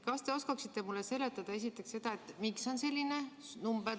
Kas te oskaksite mulle seletada esiteks seda, kust on selline number tulnud?